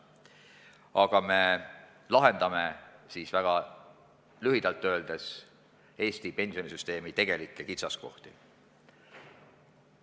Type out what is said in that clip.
Väga lihtsalt öeldes, me lahendame sellega Eesti pensionisüsteemi tegelikke kitsaskohti.